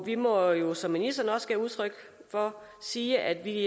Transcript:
vi må jo som ministeren også gav udtryk for sige at vi